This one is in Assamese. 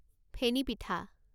ফেনি পিঠা